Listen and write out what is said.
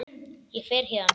Ég fer héðan.